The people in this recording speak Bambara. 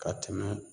Ka tɛmɛ